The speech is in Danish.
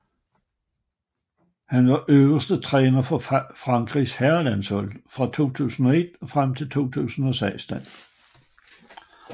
Han var øverste træner for Frankrigs herrelandshold fra 2001 frem til 2016